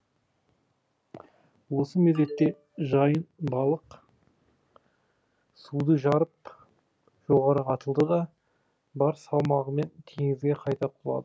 осы мезетте жайын балық суды жарып жоғары атылды да бар салмағымен теңізге қайта құлады